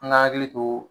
An ka hakili to